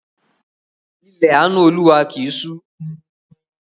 Ilẹ̀ àánú Olúwa kì í ṣú.